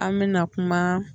An bɛna kuma